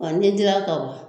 An ni dira ka ba